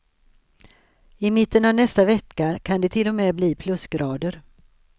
I mitten av nästa vecka kan det till och med bli plusgrader.